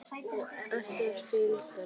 Össur fýldur.